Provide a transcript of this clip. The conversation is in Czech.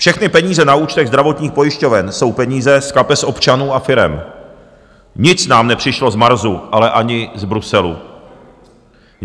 Všechny peníze na účtech zdravotních pojišťoven jsou peníze z kapes občanů a firem, nic nám nepřišlo z Marsu, ale ani z Bruselu.